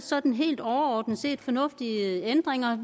sådan helt overordnet set fornuftige ændringer